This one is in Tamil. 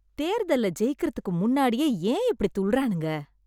தேர்தல்ல ஜெயிக்கறதுக்கு முன்னாடியே ஏன் இப்டி துள்றானுங்க...